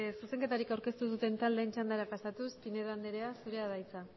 zuzenketari aurkeztu duten taldeen txandara pasatuz pineda andrea zurea da hitza